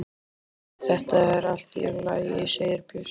Þetta er allt í lagi segir Bjössi.